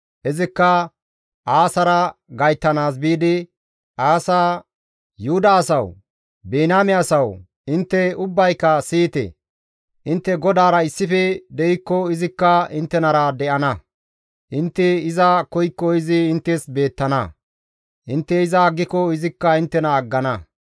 Izikka Aasara gayttanaas biidi, «Aasa, Yuhuda asawu! Biniyaame asawu intte ubbayka siyite! Intte GODAARA issife de7ikko izikka inttenara de7ana. Intte iza koykko izi inttes beettana; intte iza aggiko izikka inttena aggana.